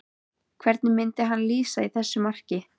Hvernig myndi hann lýsa þessu marki?